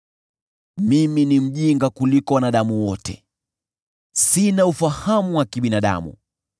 “Mimi ni mjinga kuliko wanadamu wote; sina ufahamu wa kibinadamu.